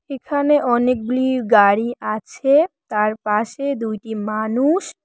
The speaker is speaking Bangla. এখানে অনেকগুলি গাড়ি আছে তার পাশে দুইটি মানুষ।